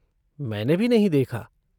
मैंने भी नहीं देखा।